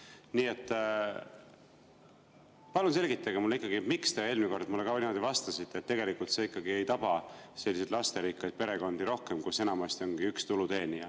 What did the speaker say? Nii et palun selgitage mulle, miks te eelmine kord mulle niimoodi vastasite, et tegelikult see ei taba selliseid lasterikkaid perekondi rohkem, kus enamasti ongi üks tuluteenija.